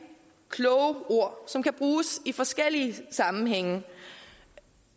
kloge ord som kan bruges i forskellige sammenhænge